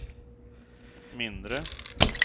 mindre